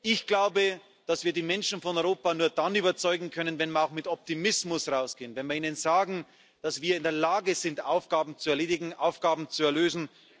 Ich glaube, dass wir die Menschen von Europa nur dann überzeugen können, wenn wir auch mit Optimismus hinausgehen, wenn wir ihnen sagen, dass wir in der Lage sind, Aufgaben zu erledigen, Aufgaben zu lösen.